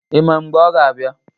Ị ma mgbe ọ ga-abịa?